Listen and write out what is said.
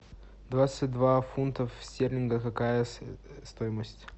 двадцать два фунтов стерлингов какая стоимость